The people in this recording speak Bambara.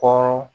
Kɔrɔ